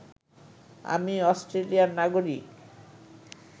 আমি অষ্ট্রেলিয়ার নাগরিক